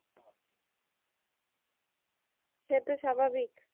সে তো স্বাভাবিক